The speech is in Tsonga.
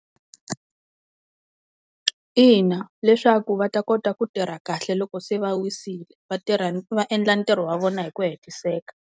Ina leswaku va ta kota ku tirha kahle loko se va wisile, va tirha va endla ntirho wa vona hi ku hetiseka.